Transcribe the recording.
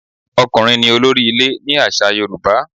Ọkùnrin ní olórí ilé ni àṣà Yorùbá.